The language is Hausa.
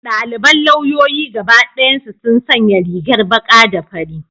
Daliban lauyoyi gaba dayansu sun sanya rigar baka da fari.